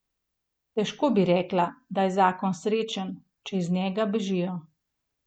Težko bi rekla, da je zakon srečen, če iz njega bežijo.